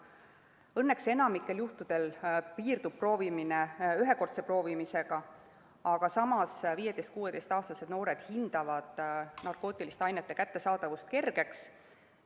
Õnneks piirdub enamikul juhtudel see ühekordse proovimisega, aga samas 15–16‑aastased noored hindavad narkootilisi aineid kergelt kättesaadavaks.